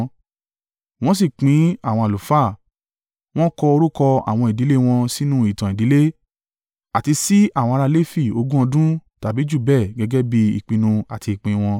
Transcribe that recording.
Wọ́n sì pín àwọn àlùfáà, wọn kọ orúkọ àwọn ìdílé wọn sínú ìtàn ìdílé àti sí àwọn ará Lefi ogún ọdún tàbí jù bẹ́ẹ̀ gẹ́gẹ́ bí ìpinnu àti ìpín wọn.